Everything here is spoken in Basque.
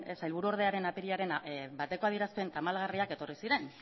sailburuordearen apirilaren bateko adierazpen tamalgarriak etorri ziren